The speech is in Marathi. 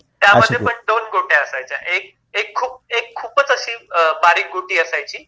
त्यामध्ये पण दोन गोट्या असायच्याएक खूप खूप खूपच अशी बारीक गोटी असायची